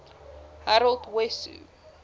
harold wesso